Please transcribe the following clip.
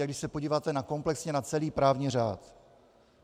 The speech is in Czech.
A když se podíváte komplexně na celý právní řád.